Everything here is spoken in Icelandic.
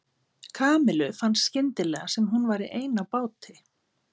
Kamillu fannst skyndilega sem hún væri ein á báti.